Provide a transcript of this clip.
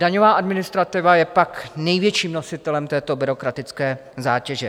Daňová administrativa je pak největším nositelem této byrokratické zátěže.